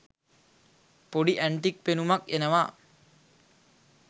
පොඩි ඇන්ටික් පෙනුමක් එනවා.